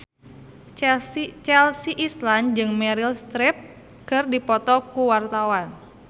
Chelsea Islan jeung Meryl Streep keur dipoto ku wartawan